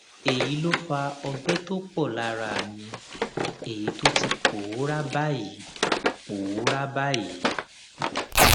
èyí ló fa ọgbẹ tó pọ lára mi èyí tó ti pòórá báyìí pòórá báyìí